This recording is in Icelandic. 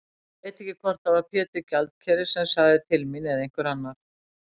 Ég veit ekki hvort það var Pétur gjaldkeri sem sagði til mín eða einhver annar.